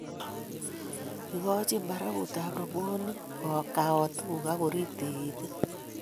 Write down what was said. Ikojin barakutab robwonik koutiku akoriib tikitik